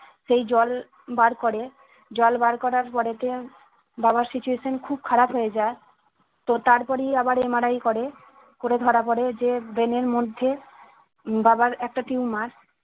সেই জল বার করে জল বার করার পড়েতে বাবার situation খুব খারাপ হয়ে যায় তো তার পরেই আবার MRI করে করে ধরা পরে যার brain এর মধ্যে উম বাবার একটা tumor